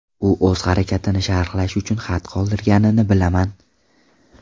U o‘z harakatini sharhlash uchun xat qoldirganini bilaman.